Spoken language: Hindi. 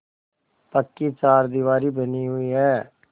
पक्की चारदीवारी बनी हुई है